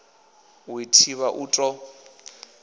u i thivha u ḓo